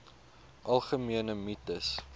algemene mites